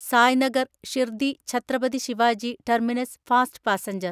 Sai Nagar Shirdi Chhatrapati Shivaji terminus fast passenger